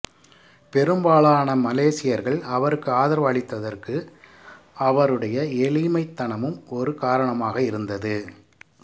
பெரும்பாலான மலேசியர்கள் அவருக்கு ஆதரவு அளித்ததற்கு அவருடைய எளிமைத்தனமும் ஒரு காரணமாக இருந்தது